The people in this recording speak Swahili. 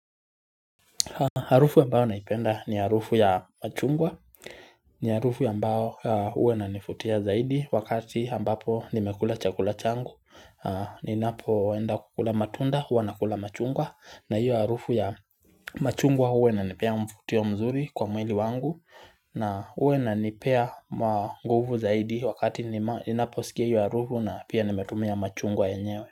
Harufu ambayo naipenda ni harufu ya machungwa ni harufu ambayo huwa inanifutia zaidi wakati ambapo nimekula chakula changu Ninapo enda kukula matunda huwa nakula machungwa na hiyo harufu ya machungwa huwa inanipea mfutio mzuri kwa mwili wangu na huwa inanipea nguvu zaidi wakati ninapo sikia ya harufu na pia nimetumia machungwa enyewe.